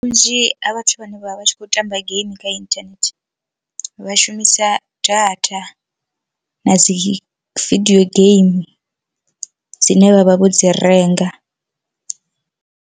Vhunzhi ha vhathu vhane vha vha tshi khou tamba game kha inthanethe vha shumisa data, na dzi vidio game dzine vha vha vho dzi renga.